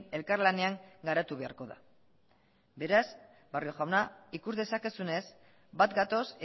elkarlanean garatu beharko da beraz barrio jauna ikus dezakezunez bat gatoz